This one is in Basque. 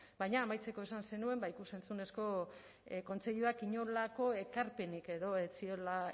baina amaitzeko esan zenuen ikus entzunezko kontseiluak inolako ekarpenik edo ez ziola